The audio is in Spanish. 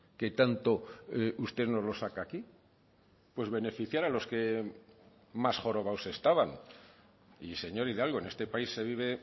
que tanto usted nos lo saca aquí pues beneficiar a los que más jorobados estaban y señor hidalgo en este país se vive